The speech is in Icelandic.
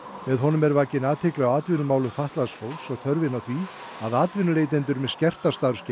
með honum er vakin athygli á atvinnumálum fatlaðs fólks og þörfinni á því að atvinnuleitendur með skerta starfsgetu